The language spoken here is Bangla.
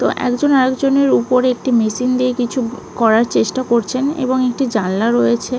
তো একজন আর একজনের ওপরে একটি মেশিন দিয়ে কিছু করার চেষ্টা করছেন এবং একটি জানলা রয়েছে।